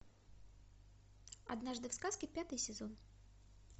однажды в сказке пятый сезон